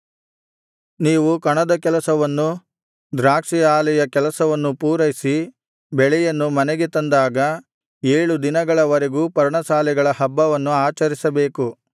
ನೀವು ಕಣದ ಕೆಲಸವನ್ನೂ ದ್ರಾಕ್ಷಿ ಆಲೆಯ ಕೆಲಸವನ್ನೂ ಪೂರೈಸಿ ಬೆಳೆಯನ್ನು ಮನೆಗೆ ತಂದಾಗ ಏಳು ದಿನಗಳವರೆಗೂ ಪರ್ಣಶಾಲೆಗಳ ಹಬ್ಬವನ್ನು ಆಚರಿಸಬೇಕು